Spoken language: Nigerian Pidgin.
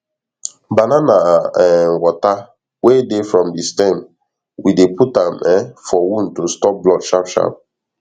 banana um water wey dey from the stem we dey put am um for wound to stop blood sharp sharp